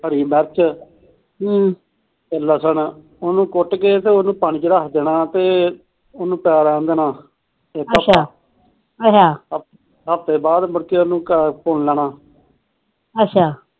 ਹਰੀ ਮਿਲਚ ਤੇ ਚਸਣ ਉਹਨੂੰ ਕੁਟ ਕੇ ਤੇ ਉਹਨੂੰ ਪਾਣੀ ਚ ਰੱਖ ਦੇਣਾ ਉਹਨੂੰ ਪਿਆ ਰਹਿਣ ਦੇਣਾ ਇਕ ਹਫਤਾ ਅੱਛਾ ਹਫਤੇ ਹਾਫਤੇ ਬਾਅਦ ਮੁੜਕੇ ਉਹਨੂੰ ਪੁਣ ਲੈਣਾ ਅੱਛਾ